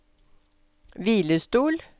hvilestol